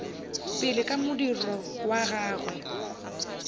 pele ka modiro wa gagwe